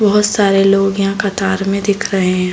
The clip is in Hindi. बहुत सारे लोग यहाँ कतार में दिख रहे हैं।